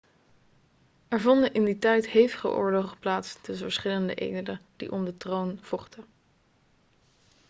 er vonden in die tijd hevige oorlogen plaats tussen verschillende edelen die om de troon vochten